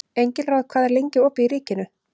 Engilráð, hvað er lengi opið í Ríkinu?